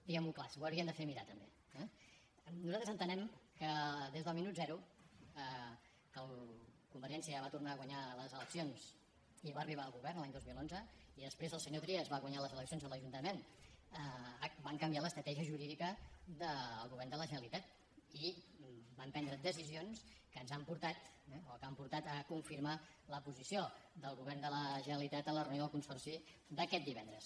diguem ho clar s’ho haurien de fer mirar també eh nosaltres entenem que des del minut zero que convergència va tornar a guanyar les eleccions i va arribar al govern l’any dos mil onze i després el senyor trias va guanyar les eleccions a l’ajuntament van canviar l’estratègia jurídica del govern de la generalitat i van prendre decisions que ens han portat eh o que han portat a confirmar la posició del govern de la generalitat en la reunió del consorci d’aquest divendres